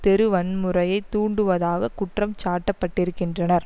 தெரு வன்முறையை தூண்டுவதாகக் குற்றம் சாட்டப்பட்டிருக்கின்றனர்